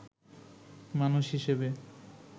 মানুষ হিসাবে